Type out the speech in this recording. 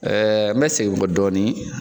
n bɛ segin n kɔ dɔɔni